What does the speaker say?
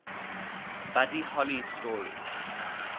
buddy holly story